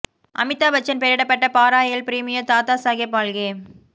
அமிதாப் பச்சன் பெயரிடப்பட்ட பாரா எல் பிரீமியோ தாதா சாஹேப் பால்கே